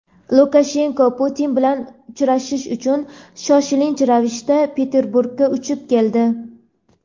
Lukashenko Putin bilan uchrashish uchun shoshilinch ravishda Peterburgga uchib keldi.